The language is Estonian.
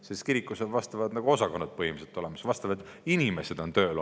Sest kirikul on sellised osakonnad põhimõtteliselt olemas, vastavad inimesed on seal tööl.